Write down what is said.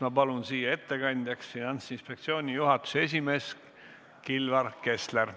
Ma palun ettekandeks kõnetooli Finantsinspektsiooni juhatuse esimehe Kilvar Kessleri.